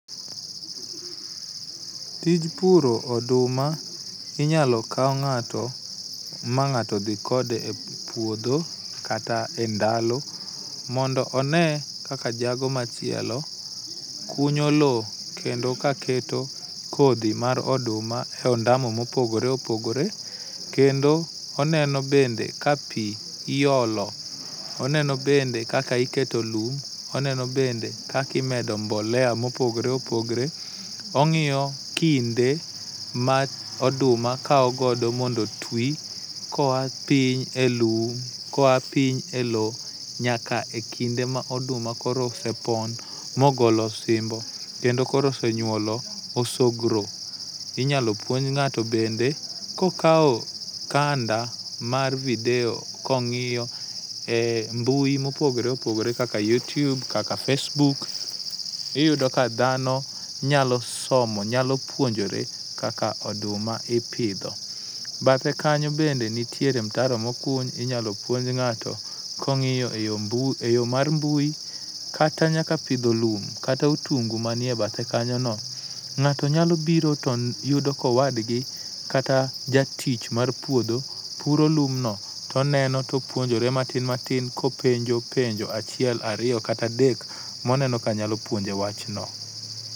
Tij puro oduma, inyalo kaw ng'ato ma ng'ato dhi kode e puodho kata endalo mondo one kaka jago machielo kunyo lowo kendo kaketo kodhi mar oduma e ondamo mopogore opogore kendo oneno bende ka pi iolo, oneno bende kaka iketo lum, oneno bende kaka imedo mbolea mopogore opogore, ong'iyo kinde ma oduma kawo godo mondo otwi koa piny e lum koa piny e lowo nyaka ekinde ma oduma koro osepon ma ogolo osimbo kendo koro koro senyuolo oosogro. Inyalo puonj ng'ato bende kokawo kanda mar video kong'iyo e mbui ,mopogore opogore kaka YuTube kaka facebook iyudo ka dhano nyalo somo nyalo puonjore kaka oduma ipidho. Bathe kanyo bende nitiere mutaro mokuny inyalo puonj ng'ato ka ong'iyo eyo mar mbui kata nyaka pidho lum kata otungu manie bathe kanyono. Ng'ato nyalo biro to yudo ka owadgi kata jatich mar puodho puro lumbno to oneno to opuonjore matin matin kopenjo enjo achiel ariyo kata adek moneno kanyalo puonje wach no.